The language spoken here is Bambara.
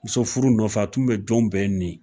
Muso furu nɔfɛ a tun bɛ jɔnw bɛɛ nin